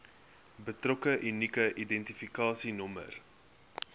betrokke unieke identifikasienommer